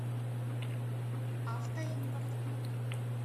автоимпорт